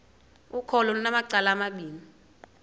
ukholo lunamacala amabini